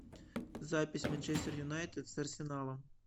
запись манчестер юнайтед с арсеналом